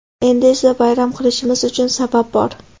Endi esa bayram qilishimiz uchun sabab bor.